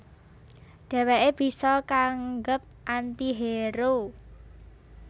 Dhèwèké bisa kaanggep anti hero